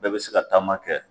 Bɛɛ be se ka taama kɛ